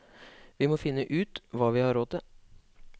Vi må finne ut hva vi har råd til.